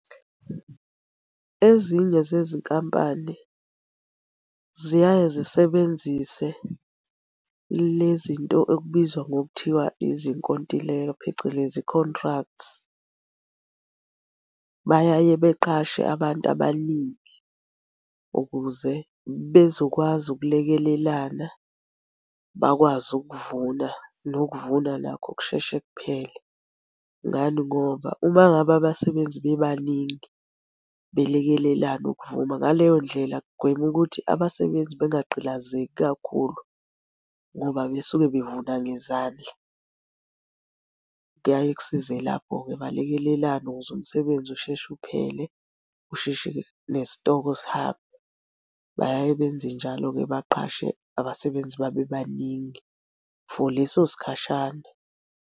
Ezinye zezinkampani ziyaye zisebenzise le zinto ekubizwa ngokuthiwa izinkontileka phecelezi contracts. Bayaye benqashe abantu abaningi ukuze bezokwazi ukulekelelana, bakwazi ukuvuna nokuvuna nakho kusheshe kuphele. Ngani ngoba, uma ngabe abasebenzi bebaningi belekelelana ukuvuna, ngaleyo ndlela kugwema ukuthi abasebenzi bengagqilazeki kakhulu ngoba besuke bevuna ngezandla. Kuyaye kusize lapho-ke, balekelelane ukuze umsebenzi usheshe uphele, usheshe nesitoko sihambe, bayaye benze njalo-ke baqashe abasebenzi babebaningi for leso sikhashana.